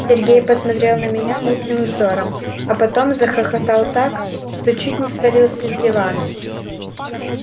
сергей посмотрел на меня мутным взором а потом захохотал так что чуть не свалился с дивана